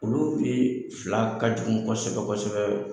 Olu bi fila ka jugu kosɛbɛ kosɛbɛ